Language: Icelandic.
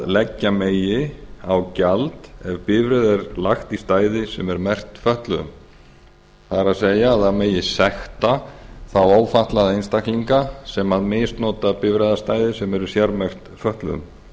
leggja megi á gjald ef bifreið er lagt í stæði sem er merkt fötluðum það er það megi sekta þá ófötluðu einstaklinga sem misnota bifreiðastæði sem eru sérmerkt fötluðum